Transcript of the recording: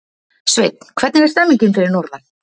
Sveinn, hvernig er stemningin fyrir norðan?